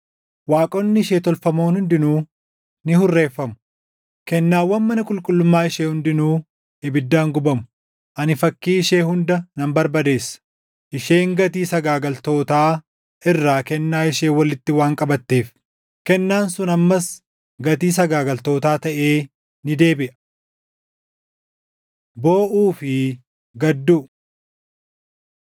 Waaqonni ishee tolfamoon hundinuu ni hurreeffamu; kennaawwan mana qulqullummaa ishee hundinuu ibiddaan gubamu; ani fakkii ishee hunda nan barbadeessa. Isheen gatii sagaagaltootaa irraa kennaa ishee walitti waan qabatteef, kennaan sun ammas gatii sagaagaltootaa taʼee ni deebiʼa.” Booʼuu fi Gadduu